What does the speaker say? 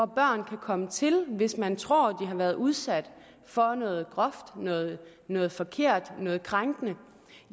børn kan komme til hvis man tror de har været udsat for noget groft noget noget forkert noget krænkende